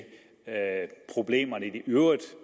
problemerne